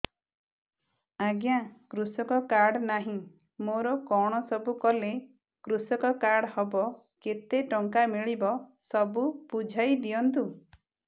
ଆଜ୍ଞା କୃଷକ କାର୍ଡ ନାହିଁ ମୋର କଣ ସବୁ କଲେ କୃଷକ କାର୍ଡ ହବ କେତେ ଟଙ୍କା ମିଳିବ ସବୁ ବୁଝାଇଦିଅନ୍ତୁ